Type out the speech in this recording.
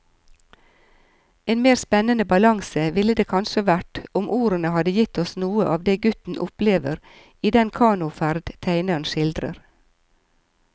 En mer spennende balanse ville det kanskje vært om ordene hadde gitt oss noe av det gutten opplever i den kanoferd tegneren skildrer.